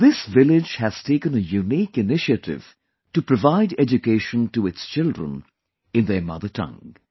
This village has taken a unique initiative to provide education to its children in their mother tongue